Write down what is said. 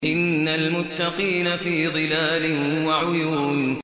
إِنَّ الْمُتَّقِينَ فِي ظِلَالٍ وَعُيُونٍ